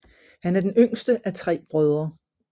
Han er den yngste af tre brødre